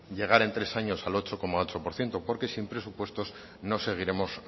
llegar en tres años al ocho coma ocho por ciento porque sin presupuestos no seguiremos